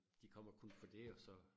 De kommer kun for dét og så